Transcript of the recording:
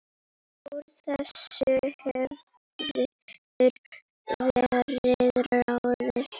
Úr þessu hefur verið ráðið